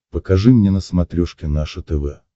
покажи мне на смотрешке наше тв